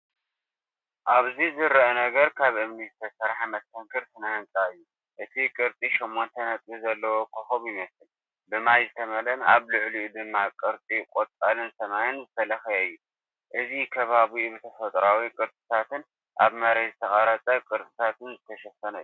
ኣብዚ ዝርአ ነገር ካብ እምኒ ዝተሰርሐ መስተንክር ስነ ህንጻ እዩ። እቲ ቅርጺ ሸሞንተ ነጥቢ ዘለዎ ኮኾብ ይመስል፣ ብማይ ዝተመልአን ኣብ ልዕሊኡ ድማ ቅርጺ ቆጽልን ሰማይን ዝተለኽየ እዩ። እዚ ከባቢኡ ብተፈጥሮኣዊ ቅርጽታትን ኣብ መሬት ዝተቐርጸ ቅርጻታትን ዝተሸፈነ እዩ።